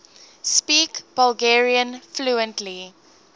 speak bulgarian fluently